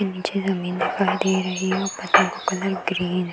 नीचे जमीन भी दिखाई दे रही है और पतों का कलर ग्रीन हैं।